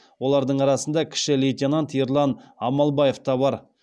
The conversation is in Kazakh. олардың арасында кіші лейтенант ерлан амалбаев та бар